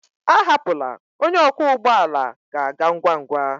Ahapụla, onye ọkwọ ụgbọ ala ga-aga ngwa ngwa.